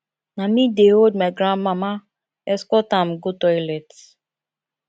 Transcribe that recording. na me dey hold my grandmama escort am go toilet